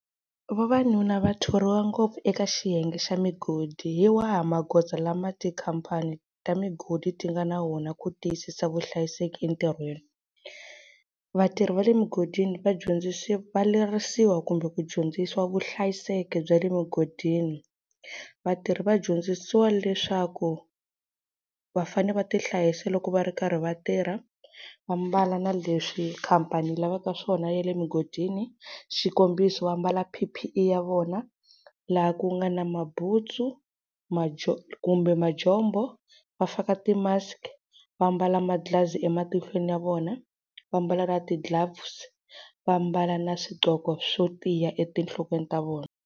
Vavanuna va thoriwa ngopfu eka xiyenge xa migodi hi wahi magoza lama tikhampani ta migodi ti nga na wona ku tiyisisa vuhlayiseki entirhweni. Vatirhi va le mugodini vadyondzisiwa va lerisiwa kumbe ku dyondzisiwa vuhlayiseki bya le mugodini. Vatirhi va dyondzisiwa leswaku vafanele va tihlayisa loko va ri karhi vatirha va mbala na leswi khampani yi lavaka swona ya le mugodini xikombiso, va mbala P_P_E ya vona laha ku nga na mabutsu, kumbe majombo va faka ti-mask-i, va mbala manghilazi ematihlweni ya vona, va mbala na ti-gloves-i, va mbala na swidloko swo tiya etinhlokweni ta vona.